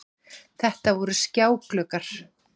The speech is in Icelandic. Þetta voru skjágluggar